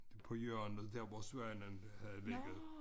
På hjørnet der hvor Svanen havde ligget